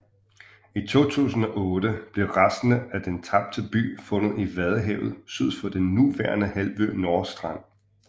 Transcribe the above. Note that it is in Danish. I 2008 blev resterne af den tabte by fundet i vadehavet syd for den nuværende halvø Nordstrand